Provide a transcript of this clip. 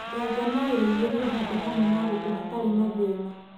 Nganga no irĩithĩrio handũ hamwe na ngũkũ hatarĩ na thĩna.